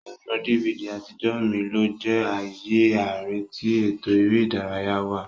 Ẹrọ DVD atijọ mí lo jẹ ààyè àárín tí eto eré ìdárayá wá.